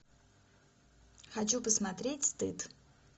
хочу посмотреть стыд